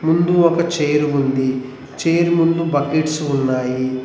ముందు ఒక చైర్ ఉంది చైర్ ముందు బకెట్స్ ఉన్నాయి.